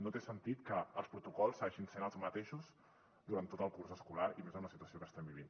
no té sentit que els protocols segueixin sent els mateixos durant tot el curs escolar i més amb la situació que estem vivint